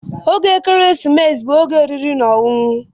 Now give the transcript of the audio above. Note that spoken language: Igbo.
Oge ekeresimesi bụ oge oriri na ọṅụṅụ.